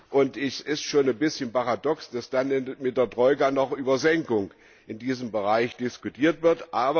Und es ist schon ein bisschen paradox, dass dann mit der Troika noch über Kürzungen in diesem Bereich diskutiert wird.